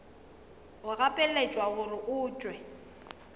o gapeletšwa gore o tšwe